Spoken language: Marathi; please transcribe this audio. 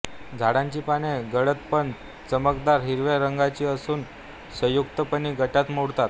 झाडांची पाने गडद पण चमकदार हिरव्या रंगाची असून संयुक्तपर्णी गटात मोडतात